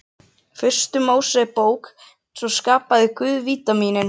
Fyrstu Mósebók, svo skapaði Guð Vítamínin.